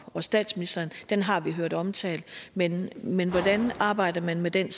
og statsministeren den har vi hørt omtalt men men hvordan arbejder man med den